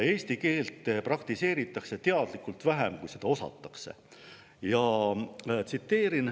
Eesti keelt praktiseeritakse teadlikult vähem kui seda osatakse.